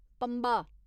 Pamba